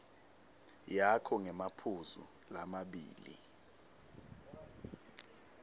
yakho ngemaphuzu lamabili